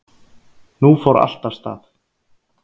Nú fór allt af stað.